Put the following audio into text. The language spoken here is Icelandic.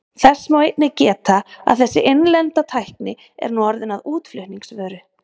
Þess má einnig geta að þessi innlenda tækni er nú orðin að útflutningsvöru.